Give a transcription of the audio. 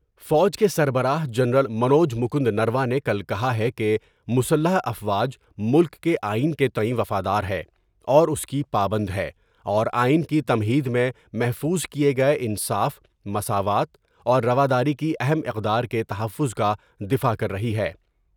فوج کے سربراہ جنرل منوج مکند نروانے نے کل کہا ہے کہ مسلح افواج ملک کے آئین کے تئیں وفادار ہے اور اس کی پابند ہے اور آئین کی تمہید میں محفوظ کئے گئے انصاف مساوات اور روداری کی اہم اقدار کے تحفظ کا دفاع کر رہی ہے ۔